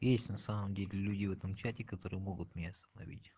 есть на самом деле люди в этом чате которые могут меня остановить